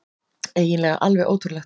Eiginlega alveg ótrúlegt.